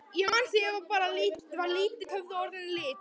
Ég man að þegar ég var lítill höfðu orðin lit.